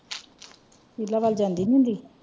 ਪਹਿਲਾ ਵੱਲ ਜਾਂਦੀ ਨੀ ਹੁੰਦੀ?